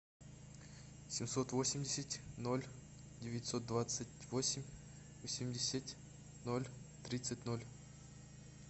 семьсот восемьдесят ноль девятьсот двадцать восемь восемьдесят ноль тридцать ноль